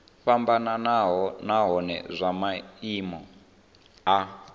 fhambanaho nahone zwa maimo a